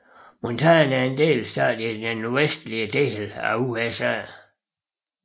Montana er en delstat i den nordvestlige del af USA